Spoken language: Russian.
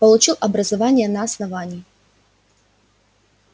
получил образование на основании